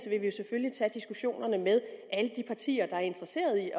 vil vi selvfølgelig tage diskussionen med alle de partier der er interesseret i